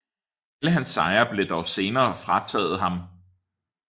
Alle hans sejre blev dog senere frataget ham